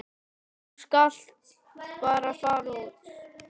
Þú skalt bara fara út.